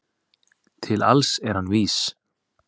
Til alls er hann vís